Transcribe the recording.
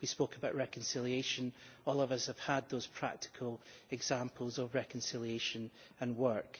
We spoke about reconciliation, and all of us have had those practical examples of reconciliation and work.